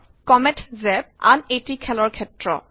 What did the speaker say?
comment জাপ comet জেপ - আন এটি খেলৰ ক্ষেত্ৰ